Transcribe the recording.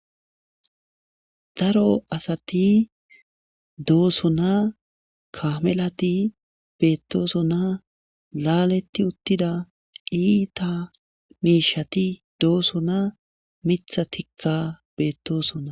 Dro asati doosoonaa kamelati beettoosona laaletti uttida iita miishati doosona miiththa tikka beettosona